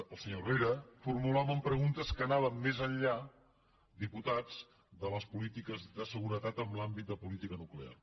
el senyor herrera formulaven preguntes que anaven més enllà diputats de les polítiques de seguretat en l’àmbit de política nuclear